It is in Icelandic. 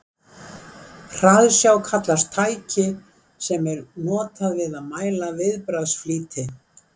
hraðsjá kallast tæki sem er notað við að mæla viðbragðsflýti